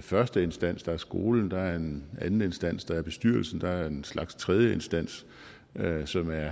første instans som er skolen der er en anden instans som er bestyrelsen der er en slags tredje instans som er